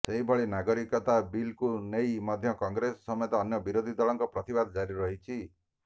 ସେହିଭଳି ନାଗରିକତା ବିଲ୍କୁ ନେଇ ମଧ୍ୟ କଂଗ୍ରେସ ସମେତ ଅନ୍ୟ ବିରୋଧୀ ଦଳଙ୍କ ପ୍ରତିବାଦ ଜାରି ରହିଛି